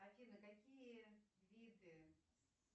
афина какие виды